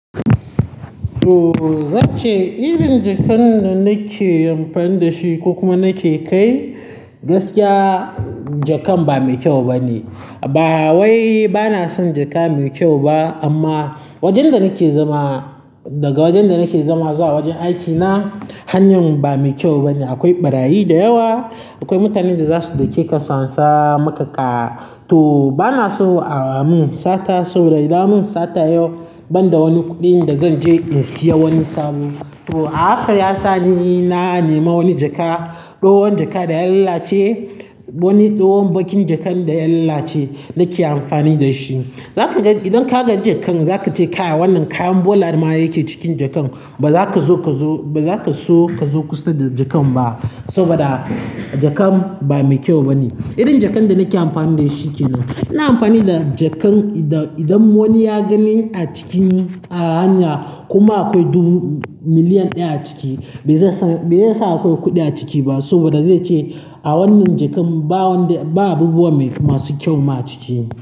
To, zan ce irin jakan da nake amfani da shi ko kuma nake kai, gaskiya, jakan ba mai kyau bane. Ba wai bana son jaka mai kyau ba amma wajen da nake zama, daga wajen da nake zama zuwa wajen aikina, hanyar ba mai kyau bane. Akwai ɓarayi da yawa, akwai mutanen da za su dauke ka su ansa maka ka. To bana so a mun sata, sabo da idan an mun sata yau banda wani kuɗin da zan je in siya wani sabo. To a haka ya sa ni na nema wani jaka, ɗowan jaka da ya lallace, wani tsohon bakin jakan da ya lallace nake amfani da shi. Zaka ga idan ka ga jakan za ka ce kai, wannan kayan bola ma yake cikin jakan. Ba za ka zo ka zo, ba za ka so ka zo kusa da jakan ba saboda jakan ba mai kyau bane. Irin jakan da nake amfani da shi ke nan. Ina amfani da jakan da idan wani ya gani a cikin hanya kuma akwai dubu, miliyan ɗaya a ciki, bai sa, bai sa akwai kuɗi a ciki ba saboda zai ce a wannan jakan ba wanda, ba abubuwa masu kyau ma a ciki.